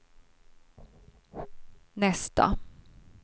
nästa